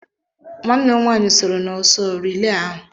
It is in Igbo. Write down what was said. Nwanne m nwaanyị sooro n'ọsọ rilee ahụ.